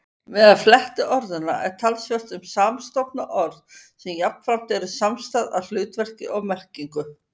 Meðal flettiorðanna er talsvert um samstofna orð sem jafnframt eru samstæð að hlutverki og merkingu.